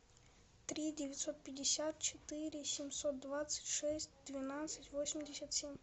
три девятьсот пятьдесят четыре семьсот двадцать шесть двенадцать восемьдесят семь